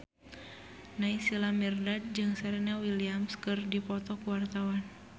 Naysila Mirdad jeung Serena Williams keur dipoto ku wartawan